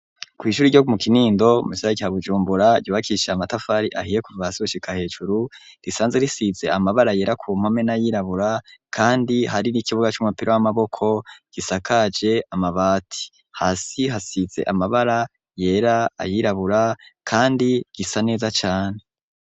Kw'ishuri ryo mu kinindo musagara ca Bujumbura ryubakishije amatafari ahiye kuva hasi gushika hejuru risanze risize amabara yera ku mpome n'ayirabura kandi hari n'ikibuga c'umupira w'amaboko gisakaje amabati. Hasi hasize amabara yera, ayirabura kandi gisa neza cane.